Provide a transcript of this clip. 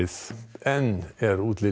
enn er útlit